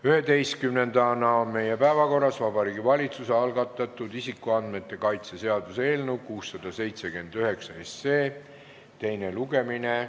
11. päevakorrapunkt on Vabariigi Valitsuse algatatud isikuandmete kaitse seaduse eelnõu 679 teine lugemine.